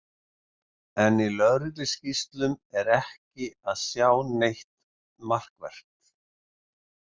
En í lögregluskýrslum er ekki að sjá neitt markvert.